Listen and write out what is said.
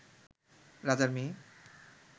রাজার মেয়ে